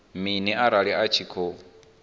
mini arali a tshi khou